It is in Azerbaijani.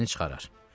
Xərcini çıxarar.